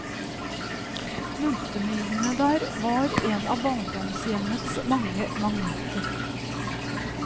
Multemyrene der var en av barndomshjemmets mange magneter.